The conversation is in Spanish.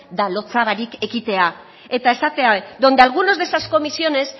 da lotsa barik ekitea eta esaten dabe donde algunos de esas comisiones